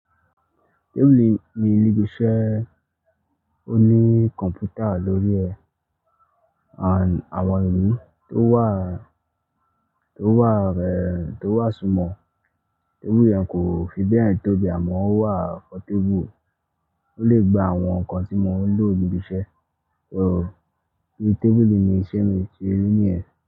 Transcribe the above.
Tébùùlì ni ibi iṣẹ́, ó ní kọ̀m̀pútà lórí ẹ̀, àwọn ìwé tó wà, tó wà rẹ, tó wà súnmọ̀. Tébùùlì yẹn kò fi bẹ́ẹ̀ tóbi àmọ́ ó wà fún tébùùlì, ó lè gba àwọn nǹkan tí mo ń lò níbi iṣẹ́. So bí tébùùlì ni iṣẹ́ mi ṣe rí nìyẹn.